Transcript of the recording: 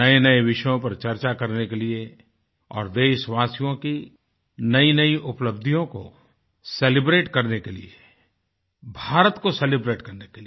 नयेनये विषयों पर चर्चा करने के लिए और देशवासियों की नयीनयी उपलब्धियों को सेलिब्रेट करने के लिए भारत को सेलिब्रेट करने के लिए